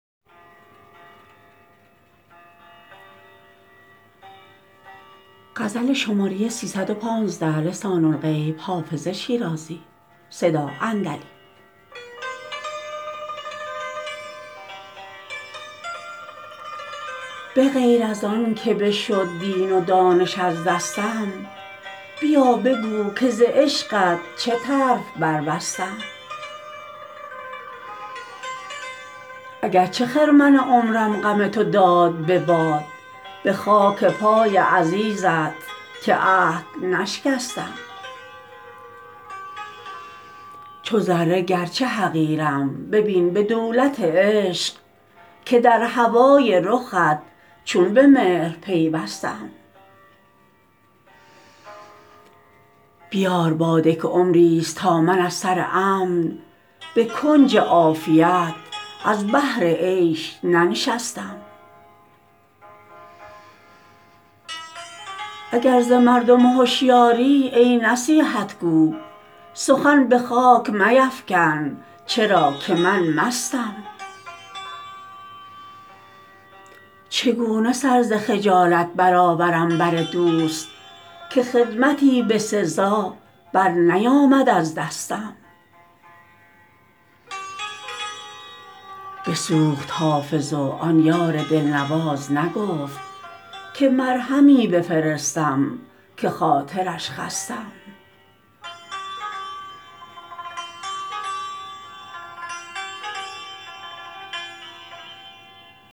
به غیر از آن که بشد دین و دانش از دستم بیا بگو که ز عشقت چه طرف بربستم اگر چه خرمن عمرم غم تو داد به باد به خاک پای عزیزت که عهد نشکستم چو ذره گرچه حقیرم ببین به دولت عشق که در هوای رخت چون به مهر پیوستم بیار باده که عمریست تا من از سر امن به کنج عافیت از بهر عیش ننشستم اگر ز مردم هشیاری ای نصیحت گو سخن به خاک میفکن چرا که من مستم چگونه سر ز خجالت برآورم بر دوست که خدمتی به سزا برنیامد از دستم بسوخت حافظ و آن یار دلنواز نگفت که مرهمی بفرستم که خاطرش خستم